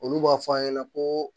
Olu b'a fɔ a ɲɛna ko